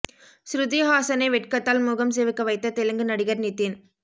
ஸ்ருதி ஹாஸனை வெட்கத்தால் முகம் சிவக்க வைத்த தெலுங்கு நடிகர் நிதின்